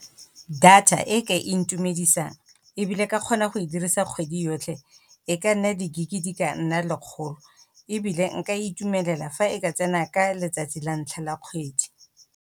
Data e ka e ntumedisang ebile ka kgona go e dirisa kgwedi yotlhe, e ka nna di-gig-e di ka nna le lekgolo, ebile nka e itumelela fa e ka tsena ka letsatsi la ntlha la kgwedi.